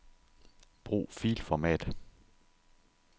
Brug filformat.